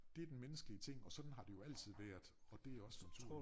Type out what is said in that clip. Dét den menneskelige ting og sådan har det jo altid været og det også som